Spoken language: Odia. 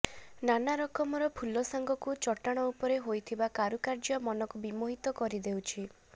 ନାନା ରକମର ଫୁଲ ସାଙ୍ଗକୁ ଚଟାଣ ଉପରେ ହୋଇଥିବା କାରୁକାର୍ଯ୍ୟ ମନକୁ ବିମୋହିତ କରିଦେଉଛି